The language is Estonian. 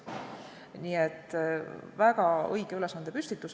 Nii et väga õige ülesandepüstitus.